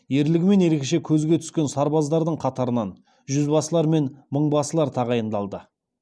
кенесары құралайды көзге ататын мергендерден іріктеп мергенбасы басқаратын ерекше жасақ құрды